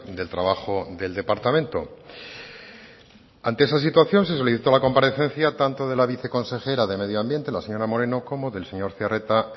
del trabajo del departamento ante esa situación se solicitó la comparecencia tanto de la viceconsejera de medio ambiente la señora moreno como del señor zearreta